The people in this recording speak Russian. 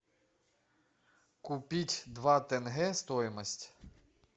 купить два тенге стоимость